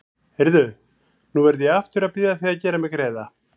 Heyrðu. nú verð ég aftur að biðja þig að gera mér greiða!